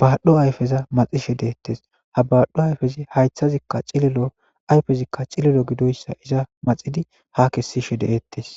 badho ayfeza maxishe detes ha badho afezi haythazika cililo ayezika cililo gidoysa maxidi ha kesishe d'etes